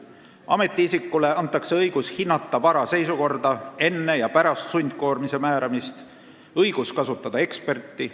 Ametiisikule antakse õigus hinnata vara seisukorda enne ja pärast sundkoormise määramist ning on õigus kasutada eksperti.